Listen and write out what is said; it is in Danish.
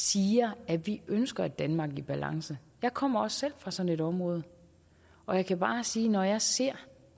siger at vi ønsker et danmark i balance jeg kommer selv fra sådan et område og jeg kan bare sige at når jeg ser